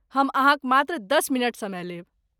हम अहाँक मात्र दश मिनट समय लेब।